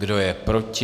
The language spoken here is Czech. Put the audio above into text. Kdo je proti?